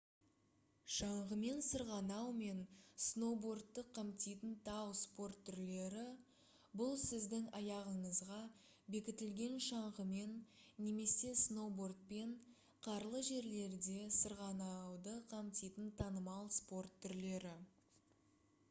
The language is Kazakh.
шаңғымен сырғанау мен сноубордты қамтитын тау спорт түрлері бұл сіздің аяғыңызға бекітілген шаңғымен немесе сноубордпен қарлы жерлерде сырғанауды қамтитын танымал спорт түрлері